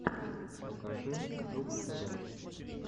покажи жук тв